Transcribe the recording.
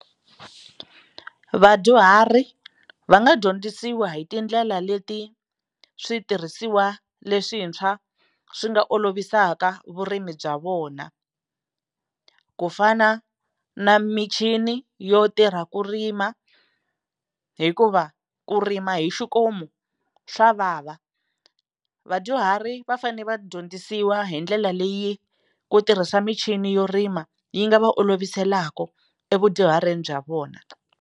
Vadyuhari va nga dyondzisiwa hi tindlela leti switirhisiwa leswintshwa swi nga olovisaka vurimi bya vona ku fana na michini yo tirha ku rima hikuva ku rima hi xikomu swa vava vadyuhari va fane va dyondzisiwa hi ndlela leyi ku tirhisa michini yo rima yi nga va oloviselaka evudyuharini bya vona.